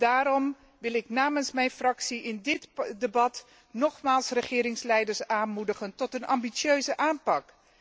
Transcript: Daarom wil ik namens mijn fractie in dit debat nogmaals de regeringsleiders aanmoedigen tot een ambitieuze aanpak.